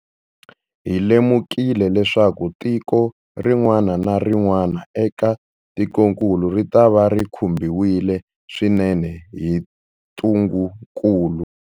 Hi lemukile leswaku tiko rin'wana na rin'wana eka tikokulu ritava ri khumbiwile swinene hi ntungukulu.